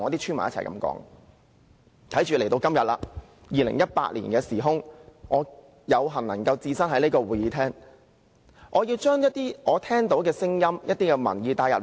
時至今日，來到2018年，我有幸能夠置身這個會議廳，所以我必須將我聽到的聲音和收到的民意帶進會議。